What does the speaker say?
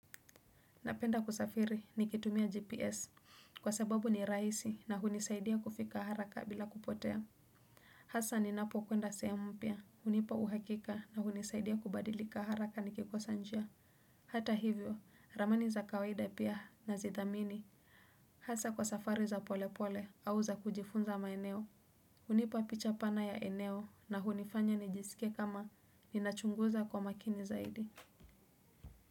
Napenda kusafiri nikitumia GPS kwa sababu ni rahisi na hunisaidia kufika haraka bila kupotea. Hasa ni napo kwenda sehemu mpya hunipa uhakika na hunisaidia kubadilika haraka nikikosa njia. Hata hivyo ramani za kawaida pia na zithamini. Hasa kwa safari za pole pole au za kujifunza maeneo hunipa picha pana ya eneo na hunifanya nijisikie kama ninachunguza kwa makini zaidi.